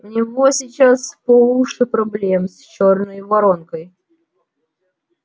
у него сейчас по уши проблем с чёрной воронкой